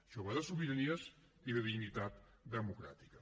això va de sobiranies i de dignitat democràtica